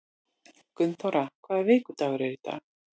Gunnþóra, hvaða vikudagur er í dag?